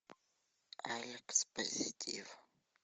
алекс позитив